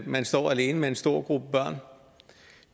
man står alene med en stor gruppe børn